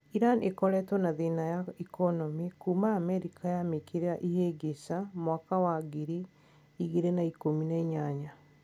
Iran ikoretwo na thina ya ikonomi kuuma Amerika yamikirira ihingica mwaka wa ngiri igĩrĩ na ikũmi na inyanya.